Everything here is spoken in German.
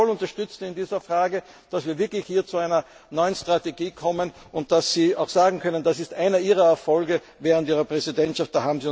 Wir werden Sie voll unterstützen in dieser Frage, damit wir hier zu einer neuen Strategie kommen und damit Sie sagen können, das ist einer Ihrer Erfolge während Ihrer Präsidentschaft.